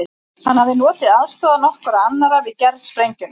Hann hafði notið aðstoðar nokkurra annarra við gerð sprengjunnar.